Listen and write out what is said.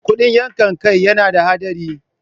Kuɗin yankan kai yana da haɗari.